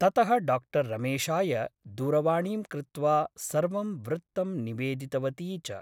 ततः डा रमेशाय दूरवाणीं कृत्वा सर्वं वृत्तं निवेदितवती च ।